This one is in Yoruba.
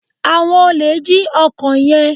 awón olè jí ọkọ yén.